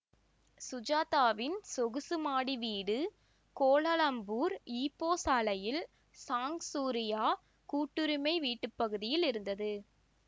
சுஜாதாவின் சொகுசு மாடி வீடு கோலாலம்பூர் ஈப்போ சாலையில் சாங் சூரியா கூட்டுரிமை வீட்டுப்பகுதியில் இருந்தது